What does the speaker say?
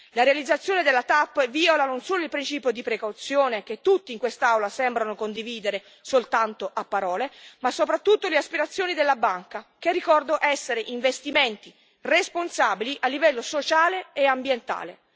La realizzazione della TAP viola non solo il principio di precauzione, che tutti in quest'Aula sembrano condividere soltanto a parole, ma soprattutto le aspirazioni della banca, che ricordo essere investimenti responsabili a livello sociale e ambientale.